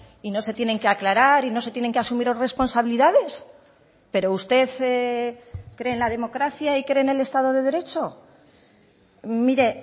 y no se tienen que aclarar y no se tienen que asumir responsabilidades pero usted cree en la democracia y cree en el estado de derecho mire